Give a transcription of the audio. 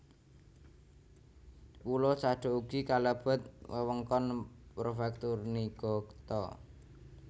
Pulo Sado ugi kalebet wewengkon Prefektur Niigata